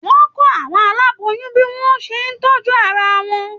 Wọn kọ àwọn aláboyún bí wọn o ṣe tọjú ara wọn.